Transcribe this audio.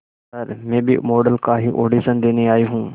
sir मैं भी model का ही ऑडिशन देने आई हूं